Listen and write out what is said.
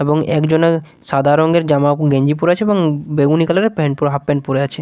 এবং একজনে সাদা রঙের জামা গেঞ্জি পরে আছে এবং বেগুনি কালার -এর প্যান্ট পরে হাফ প্যান্ট পরে আছে।